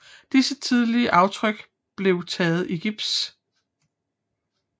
Disse tidlige aftryk blev taget i gips